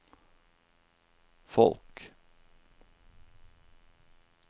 folk